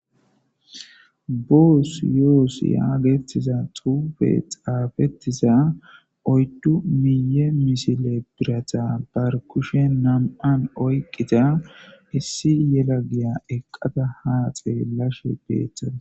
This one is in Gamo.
Boss yoss getetiza xuugee xaafetida oydu miye missile birata kushe nam'an oyqida issi yelagaya eqada ha xelashe betadus.